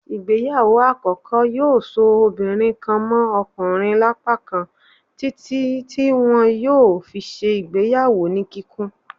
ìgbéyàwó akọkọ yóò ṣo obinrin kan mọ ọkunrin lapákán titi ti wọn yóò fí ṣe ìgbéyàwó ní kikún.